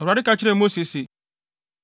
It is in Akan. Awurade ka kyerɛɛ Mose se,